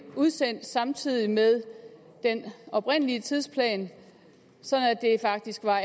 udsendt samtidig med den oprindelige tidsplan så det faktisk er